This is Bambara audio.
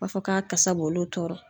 U b'a fɔ k'a kasa b'olu tɔɔrɔ.